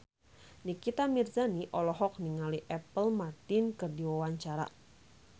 Nikita Mirzani olohok ningali Apple Martin keur diwawancara